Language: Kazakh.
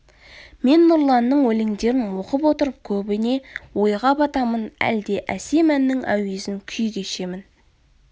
мен нұрланның өлеңдерін оқып отырып көбіне ойға батамын әлде әсем әннің әуезін күй кешемін